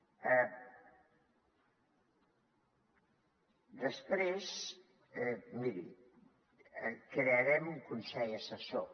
després miri crearem un consell assessor